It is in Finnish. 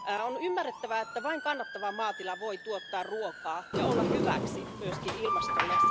On ymmärrettävä, että vain kannattava maatila voi tuottaa ruokaa ja olla hyväksi, myös ilmastolle.